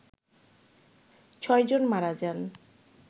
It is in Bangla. ছয় জন মারা যান